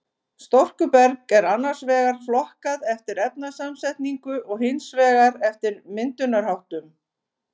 Storkuberg er annars vegar flokkað eftir efnasamsetningu og hins vegar eftir myndunarháttum.